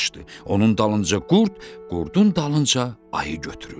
Onun dalınca qurd, qurdun dalınca ayı götürüldü.